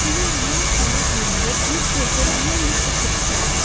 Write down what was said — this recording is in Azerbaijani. Suyun lap dayaz yerində bir körpə lüm-lüt oturmuşdu.